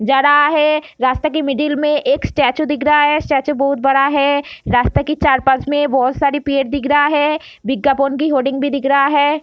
जा रहा है | रास्ता के मिडिल में एक स्टेचू दिख रहा है | स्टेचू बहुत बड़ा है | रास्ता के चार पांच मै बहुत सारे पेड़ दिख रहा है | की हेडिंग भी दिख रहा है |